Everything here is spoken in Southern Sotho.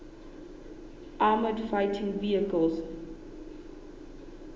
armoured fighting vehicles